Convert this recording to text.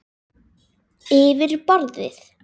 Yfir borðið.